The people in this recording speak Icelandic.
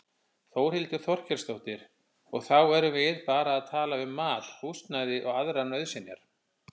Þórhildur Þorkelsdóttir: Og þá erum við bara að tala um mat, húsnæði og aðrar nauðsynjar?